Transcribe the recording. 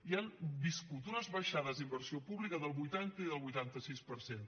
i han viscut unes baixades d’inversió pública del vuitanta i del vuitanta sis per cent